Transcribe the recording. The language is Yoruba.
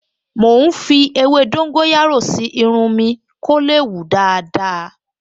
Mò ń fi ewé dóńgóyárò sí irun mi kó lè hù dáadáa